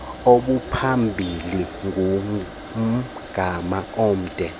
obuphambili ngumgama omde